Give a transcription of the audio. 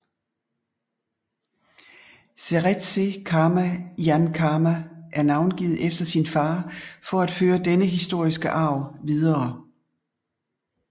Seretse Khama Ian Khama er navngivet efter sin far for at føre denne historiske arv videre